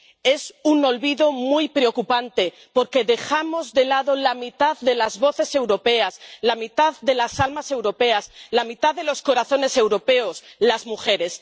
Es un olvido muy preocupante, porque dejamos de lado a la mitad de las voces europeas, a la mitad de las almas europeas, a la mitad de los corazones europeos las mujeres.